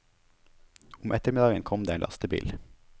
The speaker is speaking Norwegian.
Om ettermiddagen kom det en lastebil.